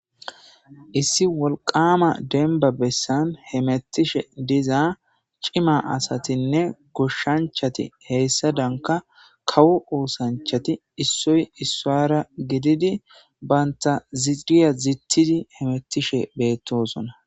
Issi wolqama denba bessan hemettishe dizaa cima asatinne goshshanchati heyssa danka kawu uusanchati issoy issaara gididi baynta ziiriya zittidi hemettishe beettosona.